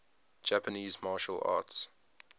japanese martial arts